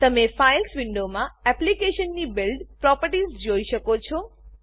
તમે ફાઇલ્સ વિન્ડોમાં એપ્લીકેશનની બિલ્ડ બીલ્ડ પ્રોપર્ટીઝ જોઈ શકો છો